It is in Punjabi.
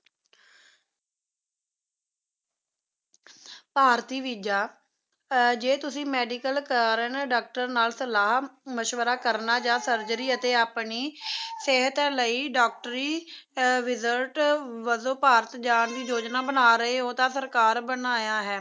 ਭਾਰਤੀ ਵੀਸਾ ਜੇ ਤੁਸੀਂ medical ਕਰਨਾ ਹੈ ਨਾ doctor ਨਾਲ ਸਲਾਹ ਮਸ਼ਵਰਾ ਕਰਨਾ ਜਾਂ surgery ਅਤੇ ਆਪਣੀ ਸਿਹਤ ਲਈ ਡਾਕਟਰੀ result ਵੱਜੋਂ ਭਾਰਤ ਜਾਣ ਦੀ ਯੋਜਨਾ ਬਣਾ ਰਹੇ ਹੋ ਤਾਂ ਸਰਕਾਰ ਬਣਾਇਆ ਹੈ